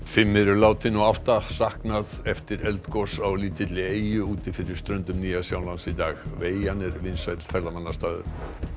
fimm eru látin og átta saknað eftir eldgos á lítilli eyju úti fyrir ströndum Nýja Sjálands í dag eyjan er vinsæll ferðamannastaður